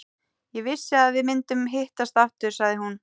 Ég vissi að við myndum hittast aftur, sagði hún.